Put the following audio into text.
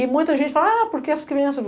E muita gente fala, ah, por que essa criança?